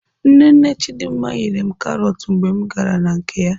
Nne nne Chidimma nyere m karọt mgbe m gara na nke ya.